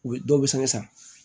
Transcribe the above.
U bɛ dɔw bɛ sanga san